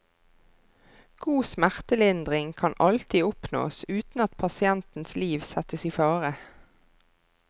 God smertelindring kan alltid oppnås uten at pasientens liv settes i fare.